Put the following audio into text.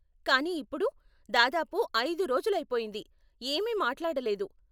కానీ ఇప్పుడు దాదాపు అయిదు రోజులు అయిపోయింది, ఏమీ మాట్లాడలేదు.